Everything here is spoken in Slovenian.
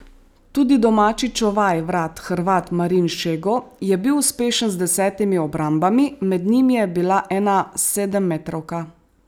Tudi domači čuvaj vrat Hrvat Marin Šego je bil uspešen z desetimi obrambami, med njimi je bila ena sedemmetrovka.